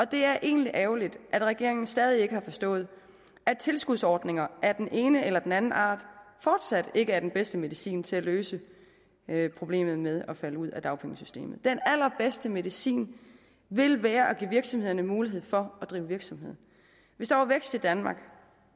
det er egentlig ærgerligt at regeringen stadig ikke har forstået at tilskudsordninger af den ene eller den anden art fortsat ikke er den bedste medicin til at løse problemet med at falde ud af dagpengesystemet den allerbedste medicin vil være at give virksomhederne mulighed for at drive virksomhed hvis der var vækst i danmark